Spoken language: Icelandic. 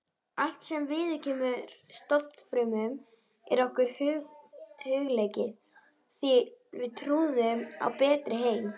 Allt sem viðkemur stofnfrumum er okkur hugleikið því við trúum á betri heim.